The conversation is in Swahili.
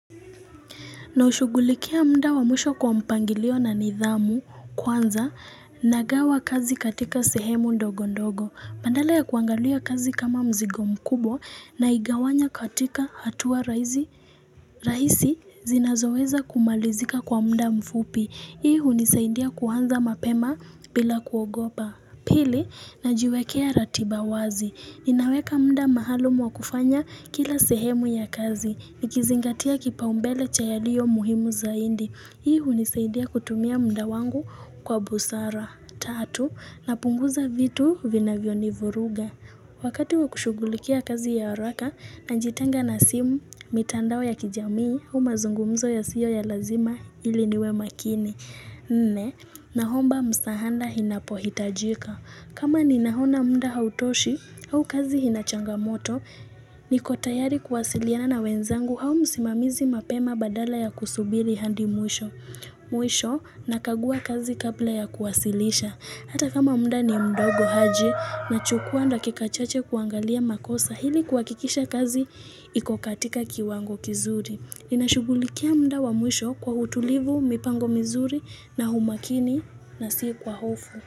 Naushugulikia mda wamusho kwa mpangilio na nidhamu kwanza na gawa kazi katika sehemu ndogo ndogo. Badala ya kuangalia kazi kama mzigo mkubo naigawanya katika hatua rahisi zinazoweza kumalizika kwa mda mfupi. Ihu nisaindia kuanza mapema bila kuogopa. Pili najiwekea ratiba wazi. Ninaweka mda maalum wa kufanya kila sehemu ya kazi. Nikizingatia kipaumbele cha yaliyo muhimu zaindi. Hii unisaidia kutumia mda wangu kwa busara. Tatu, napunguza vitu vinavyonivuruga. Wakati wakushugulikia kazi ya araka, na njitanga na simu, mitandao ya kijamii, au mazungumzo ya siyo ya lazima ili niwe makini. Nne, nahomba msahanda hinapohitajika. Kama ni nahona mda hautoshi au kazi ina changamoto, niko tayari kuwasiliana na wenzangu hau msimamizi mapema badala ya kusubili handi mwisho Mwisho nakagua kazi kabla ya kuwasilisha Hata kama mda ni mdogo haji nachukua nda kikachache kuangalia makosa hili kwa kikisha kazi iko katika kiwango kizuri ninashugulikia mda wa mwisho kwa hutulivu, mipango mizuri na humakini na sii kwa hofu.